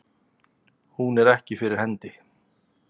Hún er ekki fyrir hendi.